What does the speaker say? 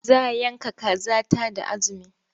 Za yanka kaza ta da azumi.